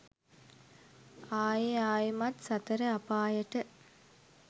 ආයෙ ආයෙමත් සතර අපායට